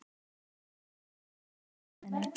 Ég horfi á hana ganga eftir slóðinni.